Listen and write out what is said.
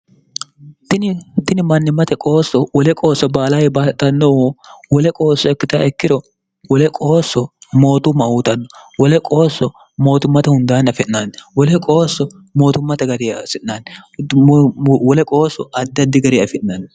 tini mannimmate qoosso wole qoosso baalayibbaatannohu wole qoosso ikkitaa ikkiro wole qoosso mootumma uutanno wole qoosso mootummate hundaanni afi'naanni wole qoosso mootummate gari afi'naanni wole qoosso addaddi gari afi'naanni